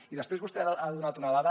i després vostè ha donat una dada